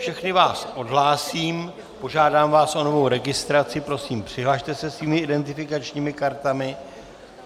Všechny vás odhlásím, požádám vás o novou registraci, prosím, přihlaste se svými identifikačními kartami.